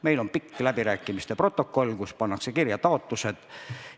Meil on pikk läbirääkimiste protokoll, kuhu pannakse kirja taotlused.